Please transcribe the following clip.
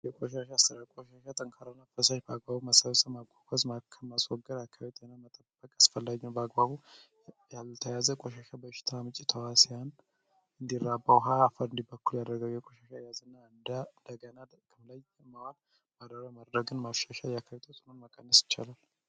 የቆሻሻ ስራ ቆሻሻ ጠንካራነ ፈሳሽ በአግባቡ መሳዊሰ አጓኮዝ ከማስወገር አካቢት የነ መጠበቅ አስፈላኙ በአግባቡ ያልተያዘ ቆሻሻ በእሽት ምጭ ተዋሲያን እንዲራባ ውሃ አፈር እንዲበኩሉ ያደረገው የቆሻሻ ያዝ እና ደገና ክምላይ የማዋል ማደራ ማድረግን ማፍሻሻ የአካዩቶጽኑን መቀንስ ይቻላል።